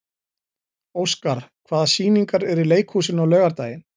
Óskar, hvaða sýningar eru í leikhúsinu á laugardaginn?